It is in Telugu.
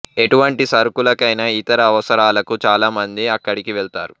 ఎటువంటి సరుకులకైన ఇతర అవసరాలకు చాల మంది అక్కడికి వెళ్తారు